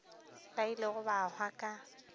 ba ilego ba hwa ka